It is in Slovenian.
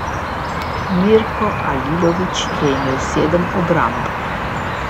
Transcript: Mirko Alilović je imel sedem obramb.